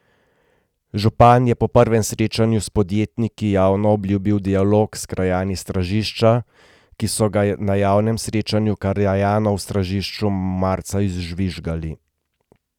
Župan je po prvem srečanju s podjetniki javno obljubil dialog s krajani Stražišča, ki so ga na javnem srečanju krajanov v Stražišču marca izžvižgali.